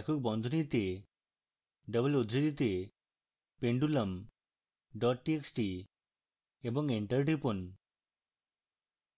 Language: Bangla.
একক বন্ধনীতে double উদ্ধৃতিতে pendulum dot txt এবং enter টিপুন